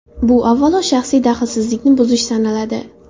Bu avvalo, shaxsiy daxlsizlikni buzish sanaladi.